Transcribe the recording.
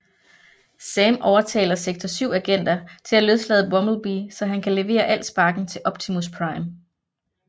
Sam overtaler Sektor 7 agenter til at løslade Bumblebee så han kan levere All Sparken til Optimus Prime